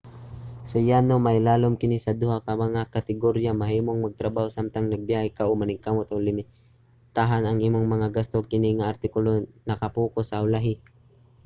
sa yano mailalom kini sa duha ka mga kategorya: mahimong magtrabaho samtang nagabiyahe ka o maningkamot ug limitahan ang imong mga gasto. kini nga artikulo naka-pocus sa ulahi